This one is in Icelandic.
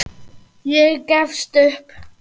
Ég gefst upp.